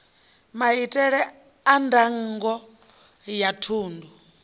maitele a ndango ya thundu